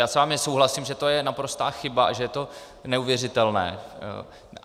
Já s vámi souhlasím, že to je naprostá chyba a že je to neuvěřitelné.